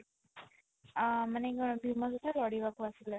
ଆଁ ମାନେ କଣ ଭୀମ ସହିତ ଲଢ଼ିବାକୁ ଆସିଲେ